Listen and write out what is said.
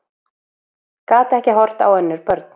Gat ekki horft á önnur börn